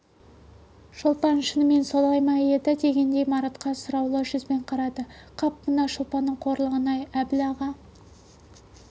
шолпан шынымен солай ма еді дегендей маратқа сұраулы жүзбен қарады қап мына шолпанның қорлығын-ай әбіл аға